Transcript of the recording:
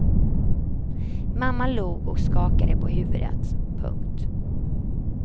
Mamma log och skakade på huvudet. punkt